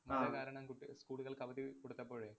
കാരണം കുട്ടിക~ school കള്‍ക്ക് അവധി കൊടുത്തപ്പോഴേ